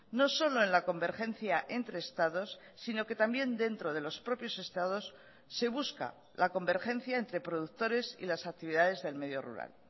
no solo en la convergencia entre estados sino que también dentro de los propios estados se busca la convergencia entre productores y las actividades del medio rural